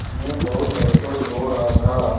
उन्हें बहुत अफसोस हो रहा था